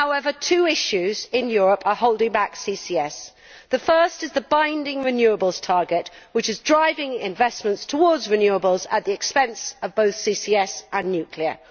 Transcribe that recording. However, two issues in Europe are holding back CCS. The first is the binding renewables target, which is driving investments towards renewables at the expense of both CCS and nuclear.